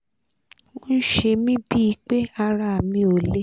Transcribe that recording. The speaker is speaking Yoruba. ó ń ṣe mí bíi pé ara mi ò le